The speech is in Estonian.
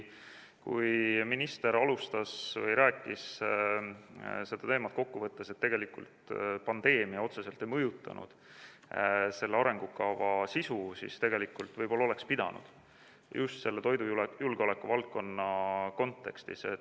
Kui minister rääkis seda teemat kokku võttes, et tegelikult pandeemia otseselt ei mõjutanud selle arengukava sisu, siis tegelikult võib-olla oleks pidanud – just toidujulgeoleku valdkonna kontekstis.